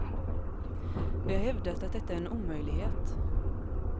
Vi har hävdat att detta är en omöjlighet.